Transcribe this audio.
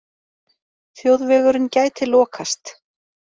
Þjóðvegurinn gæti lokast